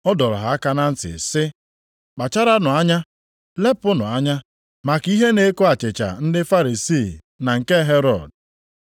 Ọ dọrọ ha aka na ntị sị, “Kpacharanụ anya. Lepụnụ anya maka ihe na-eko achịcha ndị Farisii na nke Herọd.”